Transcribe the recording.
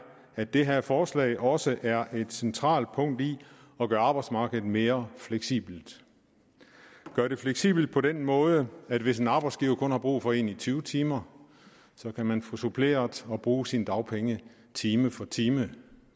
at det her forslag også er et centralt punkt i at gøre arbejdsmarkedet mere fleksibelt gøre det fleksibelt på den måde at hvis en arbejdsgiver kun har brug for en i tyve timer kan man få suppleret og bruge sine dagpenge time for time